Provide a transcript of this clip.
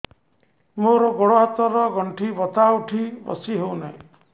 ମୋର ଗୋଡ଼ ହାତ ର ଗଣ୍ଠି ବଥା ଉଠି ବସି ହେଉନାହିଁ